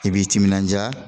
I b'i timinanja